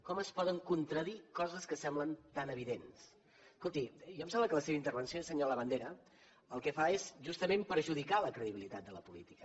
com es poden contradir coses que semblen tan evidents escolti a mi em sembla que la seva intervenció senyor labandera el que fa és justament perjudicar la credibilitat de la política